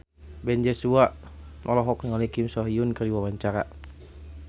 Ben Joshua olohok ningali Kim So Hyun keur diwawancara